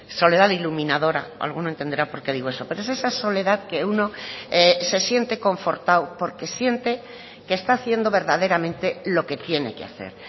soledad iluminadora alguno entenderá por qué digo eso pero es esa soledad que uno se siente confortado porque siente que está haciendo verdaderamente lo que tiene que hacer